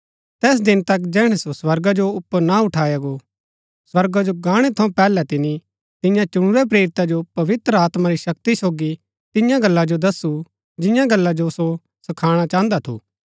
तैस दिन तक जैहणै सो र्स्वगा जो ऊपर ना उठाया गो र्स्वगा जो गाणै थऊँ पैहलै तिनी तियां चुनुरै प्रेरिता जो पवित्र आत्मा री शक्ति सोगी तियां गल्ला जो दस्सु जियां गल्ला जो सो सखाणा चाहन्दा थू